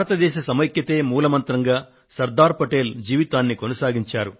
భారతదేశ సమైక్యతే మూల మంత్రంగా శ్రీ సర్దార్ పటేల్ జీవితాన్ని కొనసాగించారు